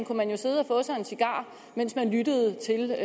kunne man jo sidde og få sig en cigar mens man lyttede til